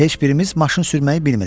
Heç birimiz maşın sürməyi bilmirik.